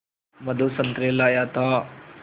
मधु संतरे लाया था